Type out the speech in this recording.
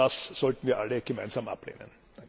Und das sollten wir alle gemeinsam ablehnen!